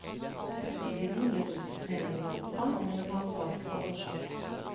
Fritiden ble brukt til trening i fotball, volleyball, basketball og sjakk.